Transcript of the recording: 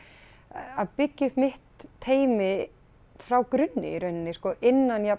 að byggja upp mitt teymi frá grunni í rauninni sko innan jafn